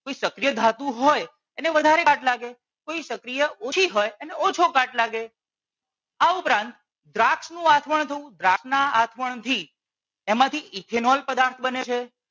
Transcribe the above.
કોઈ સક્રિય ધાતુ હોય એને વધારે કાટ લાગે કોઈ સક્રિય ઓછી હોય એને ઓછો કાટ લાગે આ ઉપરાંત દ્રાક્ષ નું આસમણ થવું દ્રાક્ષ ના આસમણથી એમાંથી ethenol પદાર્થ બને છે.